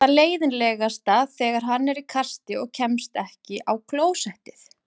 Það er leiðinlegast þegar hann er í kasti og kemst ekki á klósettið.